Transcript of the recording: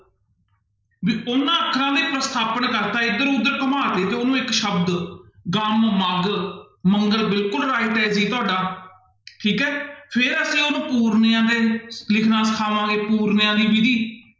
ਵੀ ਉਹਨਾਂ ਅੱਖਰਾਂ ਦੇ ਪ੍ਰਸਥਾਪਨ ਕਰ ਦਿੱਤਾ ਇੱਧਰ ਉੱਧਰ ਘੁਮਾ ਦਿੱਤੇ ਤੇ ਉਹਨੂੰ ਇੱਕ ਸ਼ਬਦ ਗਮ ਮਗ ਮੰਗਲ ਬਿਲਕੁਲ right ਹੈ ਜੀ ਤੁਹਾਡਾ ਠੀਕ ਹੈ, ਫਿਰ ਅਸੀਂ ਉਹਨੂੰ ਪੂਰਨਿਆਂ ਤੇ ਲਿਖਣਾ ਸਿਖਾਵਾਂਗੇ ਪੂਰਨਿਆਂ ਦੀ ਵਿੱਧੀ।